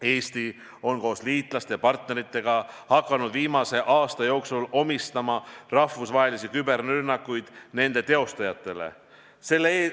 Eesti on koos liitlaste ja partneritega hakanud viimase aasta jooksul omistama rahvusvahelisi küberrünnakuid nende teostajatele.